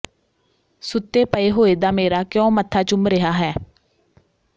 ਸੁੱਤੇ ਪਏ ਹੋਏ ਦਾ ਮੇਰਾ ਕਿਉਂ ਮੱਥਾ ਚੁੰਮ ਰਿਹਾ ਹੈ